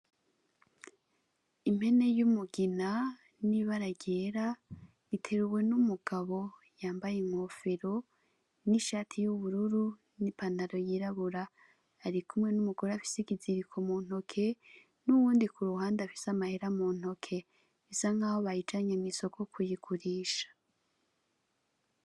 Impene y'umugina n'ibara ryera, iteruwe n'umugabo yambaye inkofesro n'ishatiy'ubururu n'ipantaro yirabura. Ari kumwe n'umugore afise ikiziriko mu ntoke, n'uwundi ku ruhande afise amahera mu ntoke; bisa nk'aho bayijanye mw'isoko kiyigurisha.